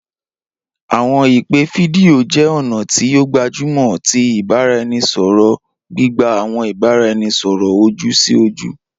Awọn ipe fidio jẹ ọna ti o gbajumọ ti ibaraẹnisọrọ, gbigba awọn ibaraẹnisọrọ oju-si-oju.